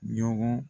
Ɲɔgɔn